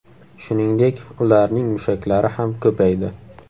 Shuningdek, ularning mushaklari ham ko‘paydi.